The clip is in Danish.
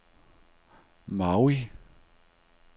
Maui